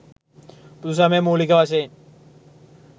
බුදුසමය මූලික වශයෙන්